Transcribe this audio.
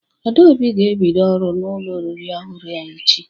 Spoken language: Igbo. Adaobi ga-ebido ọrụ n'ụlọ oriri ọhụrụ a echi.